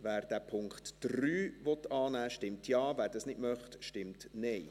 Wer den Punkt 3 annehmen will, stimmt Ja, wer das nicht möchte, stimmt Nein.